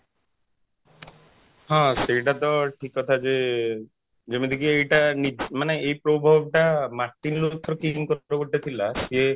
ହଁ ସେଇଟା ତ ଠିକ କଥା ଯେ ଯେମିତିକି ଏଇଟା ମାନେ ଏଇଟା ଏଇ proverb ଟା ମାନେ martin luther king ଙ୍କର ଗୋଟେ ଥିଲା ସେ